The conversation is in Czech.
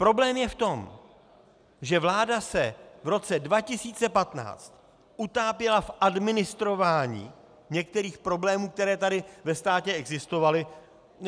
Problém je v tom, že vláda se v roce 2015 utápěla v administrování některých problémů, které tady ve státě existovaly.